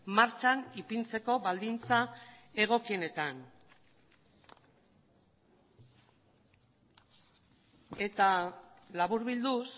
martxan ipintzeko baldintza egokienetan eta laburbilduz